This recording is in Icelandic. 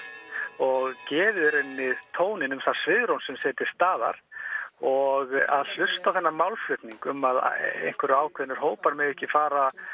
og gefið í rauninni tóninn um það svigrúm sem sé til staðar og að hlusta á þennan málflutning um að einhverjir hópar megi ekki fara